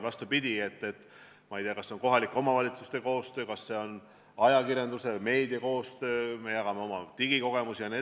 Ma ei tea, kas see on kohalike omavalitsuste koostöö, kas see on ajakirjanduse või meedia koostöö, kas me jagame oma digikogemusi vms.